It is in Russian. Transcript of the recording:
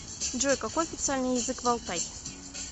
джой какой официальный язык в алтай